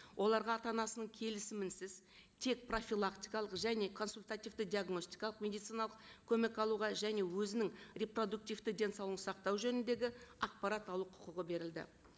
оларға ата анасының келісімісіз тек профилактикалық және консультативті диагностикалық медициналық көмек алуға және өзінің репродуктивті денсаулығын сақтау жөніндегі ақпарат алу құқығы берілді